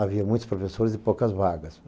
Havia muitos professores e poucas vagas.